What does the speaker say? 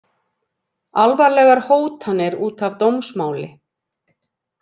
Alvarlegar hótanir út af dómsmáli